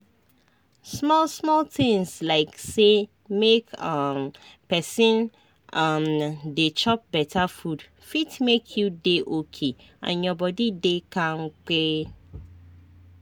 small-small tinz like say make um pesin um dey chop beta food fit make you dey okay and your body dey kampe.